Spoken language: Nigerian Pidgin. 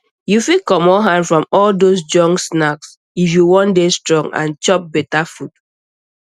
you fit comot hand from all those junk snack if you wan dey strong and chop better food